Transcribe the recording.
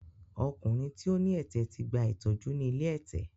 Ọkùnrin tí ó ní ẹ̀tẹ̀ ti gba ìtọ́jú ni ilé ẹ̀tẹ̀.